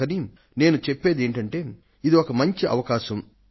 అందుకని నేను చెప్పేది ఏమిటంటే ఇది ఒక మంచి అవకాశం